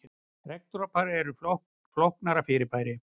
Regndropar eru flóknara fyrirbæri.